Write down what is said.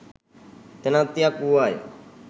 තැනැත්තියක් වූවාය.